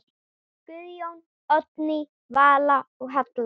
Guðjón, Oddný Vala og Halla.